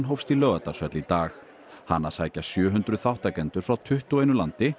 hófst í Laugardalshöll í dag hana sækja sjö hundruð þátttakendur frá tuttugu og einu landi